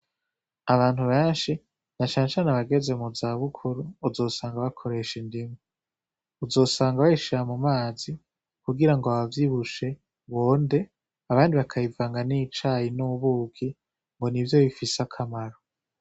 Abantu benshi na cane cane abageze mu zabukuru uzosanga bakoresha indimu, uzosanga bazishira mu mazi kugira ngo abavyibushe bonde abandi bakayivanga n'icayi n'ubuki ngo nivyo bifise akamaro